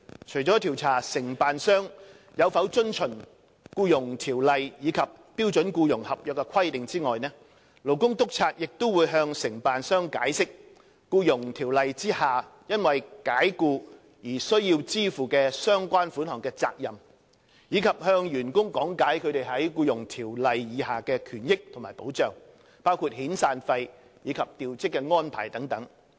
除了調查承辦商有否遵從《僱傭條例》及標準僱傭合約的規定外，勞工督察亦會向承辦商解釋《僱傭條例》下因解僱而須支付相關款項的責任，以及向員工講解他們在《僱傭條例》下的權益及保障，包括遣散費及調職安排等。